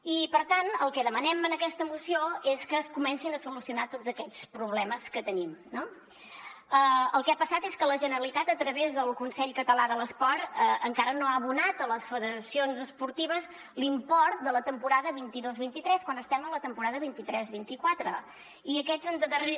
i per tant el que demanem en aquesta moció és que es comencin a solucionar tots aquests problemes que tenim no el que ha passat és que la generalitat a través del consell català de l’esport encara no ha abonat a les federacions esportives l’import de la temporada vint dos vint tres quan estem en la temporada vint tres vint quatre i aquests endarrer